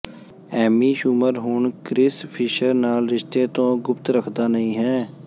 Ammy Schumer ਹੁਣ Chris Fischer ਨਾਲ ਰਿਸ਼ਤੇ ਤੋਂ ਗੁਪਤ ਰੱਖਦਾ ਨਹੀਂ ਹੈ